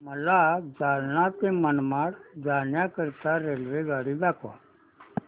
मला जालना ते मनमाड जाण्याकरीता रेल्वेगाडी दाखवा